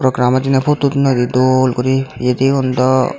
grama diney photo udodonnoidey dol guri yedigun daw.